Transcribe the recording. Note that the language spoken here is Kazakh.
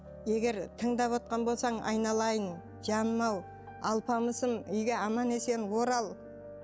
егер тыңдап отқан болсаң айналайын жаным ау алпамысым үйге аман есен орал